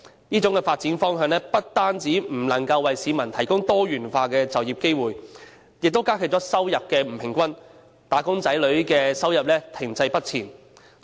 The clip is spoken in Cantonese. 這種發展方向不單不能為市民提供多元化的就業機會，亦加劇了收入不均，"打工仔女"的收入停滯不前的情況。